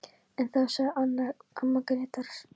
En þá sagði Anna, amma Grétars